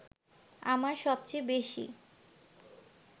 আমার সবচেয়ে বেশি